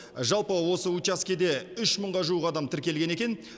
жалпы осы учаскеде үш мыңға жуық адам тіркелген екен